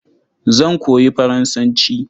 Zan koyi Faransanci.